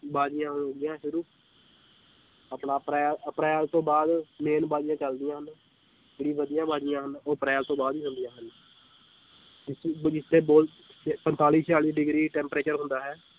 ਬਾਜੀਆਂ ਹੋ ਗਈਆਂ ਸ਼ੁਰੂ ਆਪਾਂ ਅਪ੍ਰੈ ਅਪ੍ਰੈਲ ਤੋਂ ਬਾਅਦ main ਬਾਜ਼ੀਆਂ ਚੱਲਦੀਆਂ ਹਨ, ਜਿਹੜੀ ਵਧੀਆ ਬਾਜ਼ੀਆਂ ਹਨ ਉਹ ਅਪ੍ਰੈਲ ਤੋਂ ਬਾਅਦ ਹੀ ਚੱਲਦੀਆਂ ਹਨ ਪੰਤਾਲੀ ਛਿਆਲੀ degree temperature ਹੁੰਦਾ ਹੈ